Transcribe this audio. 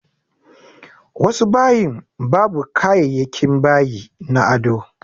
Wasu bayin babu kayayakin bayi na ado.